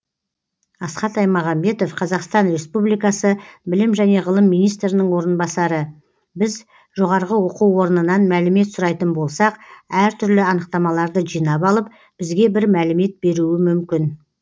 асхат аймағамбетов қазақстан республикасы білім және ғылым министрінің орынбасары біз жоғары оқу орнынан мәлімет сұрайтын болсақ әртүрлі анықтамаларды жинап алып бізге бір мәлімет беруі мүмкін